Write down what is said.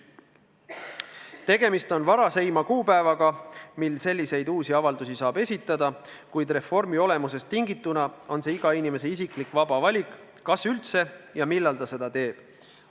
Tegemist on varaseima kuupäevaga, mil selliseid uusi avaldusi saab esitada, kuid reformi olemusest tingituna on see iga inimese isiklik vaba valik, millal ta seda teeb ja kas üldse teeb.